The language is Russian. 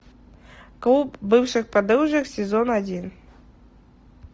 клуб бывших подружек сезон один